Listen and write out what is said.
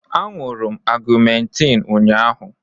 M ṅụụrụ ọgmentiin ụnyahụ.